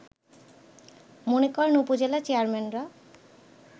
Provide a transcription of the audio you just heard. মনে করেন উপজেলা চেয়ারম্যানরা